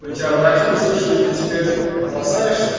родаки услышали ты теперь